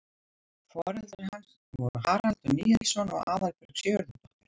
foreldrar hans voru haraldur níelsson og aðalbjörg sigurðardóttir